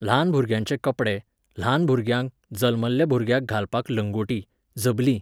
ल्हान भुरग्यांचे कपडे, ल्हान भुरग्यांक, जल्मल्ल्या भुरग्याक घालपाक, लंगोटी, झबलीं